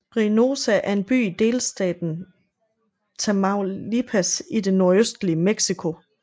Reynosa er en by i delstaten Tamaulipas i det nordøstlige Mexico